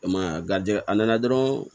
E ma ye wa garidi a nana dɔrɔn